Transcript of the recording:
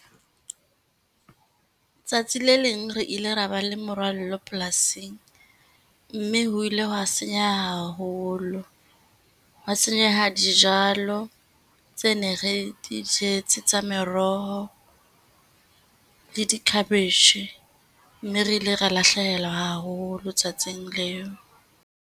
Tsatsi le leng re ile ra ba le morwallo polasing, mme ho ile hwa senyeha haholo, hwa senyeha dijalo tse ne re di jetse tsa meroho, le di cabbage. Mme re ile ra lahlehelwa haholo tsatsing leo.